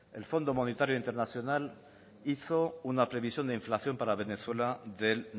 el fondo monetario internacional hizo una previsión de inflación para venezuela del